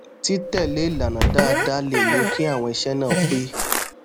títèlé ìlànà dáadáa lè mú kí àwọn iṣé náà pé